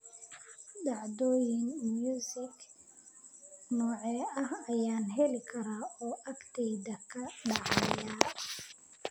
Dhacdooyin muusik noocee ah ayaan heli karaa oo agteyda ka dhacaya?